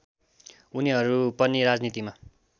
उनीहरू पनि राजनीतिमा